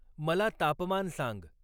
मला तापमान सांग